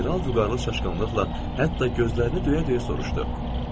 General vüqarlı çaşqınlıqla, hətta gözlərini döyə-döyə soruşdu.